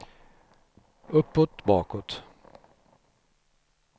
uppåt bakåt